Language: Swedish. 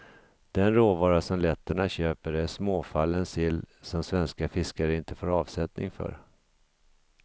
Den råvara som letterna köper är småfallen sill som svenska fiskare inte får avsättning för.